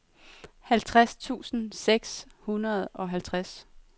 halvtreds tusind seks hundrede og halvtreds